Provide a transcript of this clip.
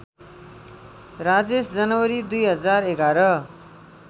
राजेश जनवरी २०११